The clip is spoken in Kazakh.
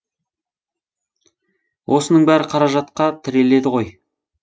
осының бәрі қаражатқа тіреледі ғой